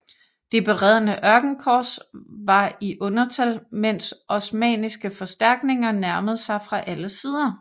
Det beredne ørkenkorps var i undertal mens osmanniske forstærkninger nærmede sig fra alle sider